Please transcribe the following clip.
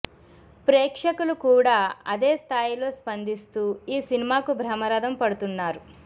ప్రేక్షకులు కూడా అదే స్థాయిలో స్పందిస్తూ ఈ సినిమాకు బ్రహ్మరథం పడుతున్నారు